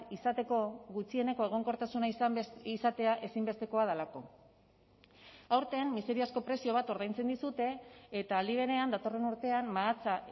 izateko gutxieneko egonkortasuna izatea ezinbestekoa delako aurten miseriazko prezio bat ordaintzen dizute eta aldi berean datorren urtean mahatsa